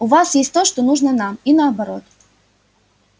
у вас есть то что нужно нам и наоборот